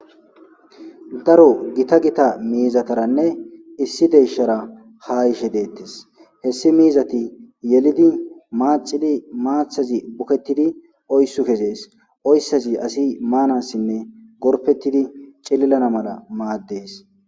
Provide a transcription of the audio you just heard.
Daro gita gita miizataranne issi deyshara ha ishe deettis hessi miizati yelidi maacidi maathazi bukettidi oyssu kesees oyssazi asi maanassinne gorpettidi cililana mala maaddees.